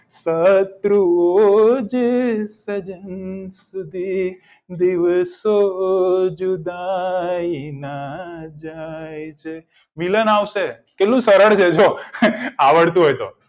શત્રુઓજ સજન સુધી દિવસો જુદાઈના જાય છે મિલન આવશે કેટલું સરળ છે જો આવડતું હોય તો